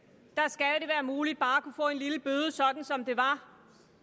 at muligt bare at kunne få en lille bøde sådan som det var